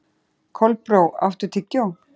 Kolbrá, áttu tyggjó?